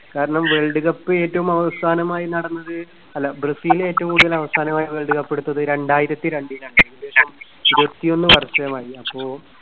കാരണം world cup ഏറ്റവും അവസാനമായി നടന്നത്, അല്ല, ബ്രസീല് ഏറ്റവും കൂടുതല് അവസാനമായി വേൾഡ് കപ്പ് എടുത്തത് രണ്ടായിരത്തിരണ്ടിലാണ്. ഏകദേശം ഇരുപത്തിയൊന്ന് വർഷമായി. അപ്പോ